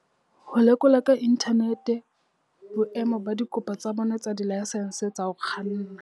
Ho lekola ka inthanete boemo ba dikopo tsa bona tsa dilaesense tsa ho kganna.